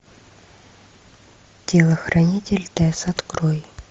телохранитель тесс открой